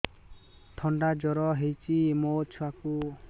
ଥଣ୍ଡା ଜର ହେଇଚି ମୋ ଛୁଆକୁ